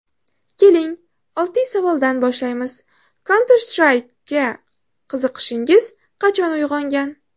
Keling, oddiy savoldan boshlaymiz: Counter-Strike’ga qiziqishingiz qachon uyg‘ongan?